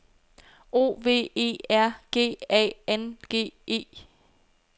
O V E R G A N G E